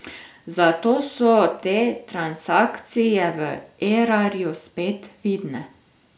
Zato so te transakcije v Erarju spet vidne.